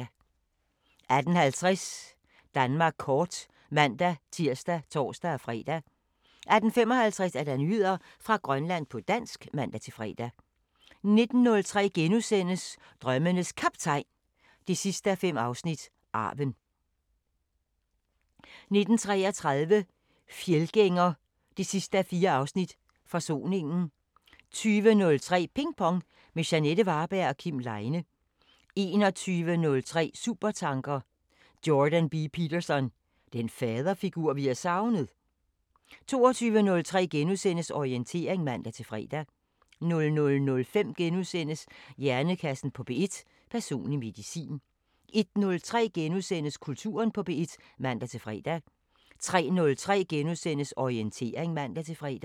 18:50: Danmark kort (man-tir og tor-fre) 18:55: Nyheder fra Grønland på dansk (man-fre) 19:03: Drømmenes Kaptajn 5:5 – Arven * 19:33: Fjeldgænger 4:4 – Forsoningen 20:03: Ping Pong – med Jeanette Varberg og Kim Leine 21:03: Supertanker: Jordan B. Peterson – den faderfigur, vi har savnet? 22:03: Orientering *(man-fre) 00:05: Hjernekassen på P1: Personlig medicin * 01:03: Kulturen på P1 *(man-fre) 03:03: Orientering *(man-fre)